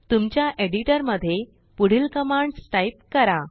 तुमच्याएडिटरमध्येपुढील commands type करा